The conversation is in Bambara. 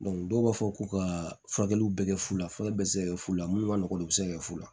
dɔw b'a fɔ k'u ka furakɛliw bɛɛ kɛ fu la furakɛli bɛ se ka kɛ fu la minnu ma nɔgɔn u bɛ se ka kɛ fu la